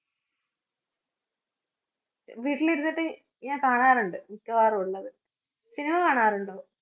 വീട്ടിലിരുന്നിട്ട് ഞാന്‍ കാണാറുണ്ട് മിക്കവാറൊള്ളത്. cinema കാണാറൊണ്ടോ?